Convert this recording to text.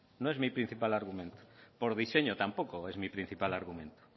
no es mi principal argumento por diseño tampoco es mi principal argumento